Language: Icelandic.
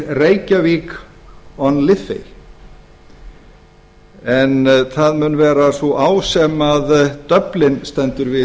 reykjavík on liffey en það mun vera sú á sem dublin stendur við